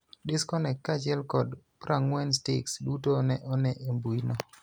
Disconnect kaachiel kod 40 Sticks duto ne one e mbuino.